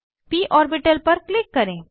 प ऑर्बिटल पर क्लिक करें